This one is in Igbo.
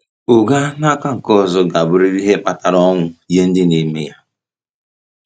Ụgha, n’aka nke ọzọ, ga-abụrịrị ihe kpatara ọnwụ nye ndị na-eme ya.